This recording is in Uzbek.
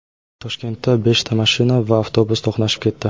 Toshkentda beshta mashina va avtobus to‘qnashib ketdi.